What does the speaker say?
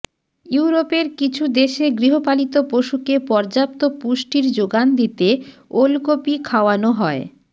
ইউরোপের কিছু দেশে গৃহপালিত পশুকে পর্যাপ্ত পুষ্টির যোগান দিতে ওলকপি খাওয়ানো হয়